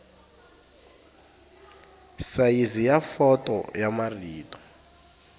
sayizi ya fonto ya marito